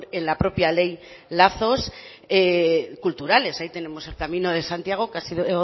en la propia ley lazos culturales ahí tenemos el camino de santiago que ha sido